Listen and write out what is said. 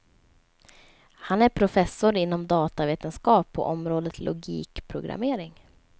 Han är professor inom datavetenskap på området logikprogrammering.